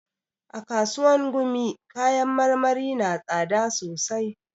A kasuwan gumi kayan marmari na tsada sosai